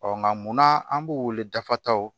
nka munna an b'u wele dafata